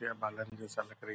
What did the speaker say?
विद्या बालन जैसा लग रही --